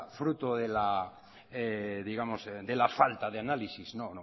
fruto de la falta de análisis no